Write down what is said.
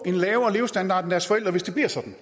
en lavere levestandard end deres forældres generation